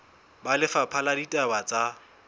ba lefapha la ditaba tsa